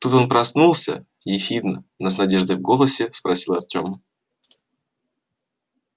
тут он проснулся ехидно но с надеждой в голосе спросил артем